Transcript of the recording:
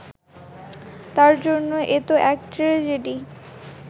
তাঁর জন্য এ তো এক ট্র্যাজেডি